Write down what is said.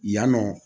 Yan nɔ